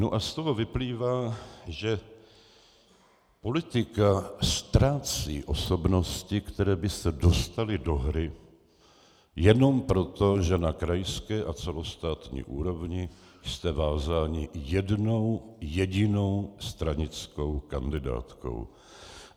Nu a z toho vyplývá, že politika ztrácí osobnosti, které by se dostaly do hry, jenom proto, že na krajské a celostátní úrovni jste vázáni jednou jedinou stranickou kandidátkou.